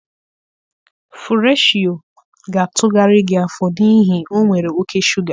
Fụreshị Yoo ga-atụgharị gị afọ n'ihi o nwere oke shuga.